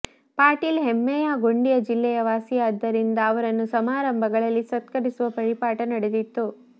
ಪಾಟೀಲ್ ಹೆಮ್ಮೆಯ ಗೊಂಡಿಯ ಜಿಲ್ಲೆಯ ವಾಸಿಯಾದ್ದರಿಂದ ಅವರನ್ನು ಸಮಾರಂಭಗಳಲ್ಲಿ ಸತ್ಕರಿಸುವ ಪರಿಪಾಠ ನಡೆದಿತ್ತು